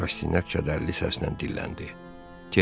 Rastinyak kədərli səslə dilləndi: Tereza.